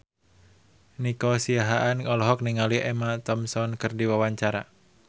Nico Siahaan olohok ningali Emma Thompson keur diwawancara